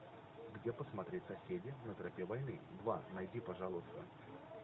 где посмотреть соседи на тропе войны два найди пожалуйста